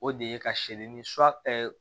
O de ye ka seleri su